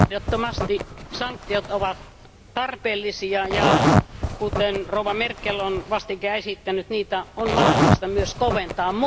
Ehdottomasti sanktiot ovat tarpeellisia, ja kuten rouva Merkel on vastikään esittänyt, niitä on mahdollista myös koventaa.